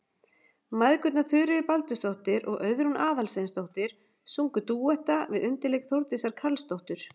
Mæðgurnar Þuríður Baldursdóttir og Auðrún Aðalsteinsdóttir sungu dúetta við undirleik Þórdísar Karlsdóttur.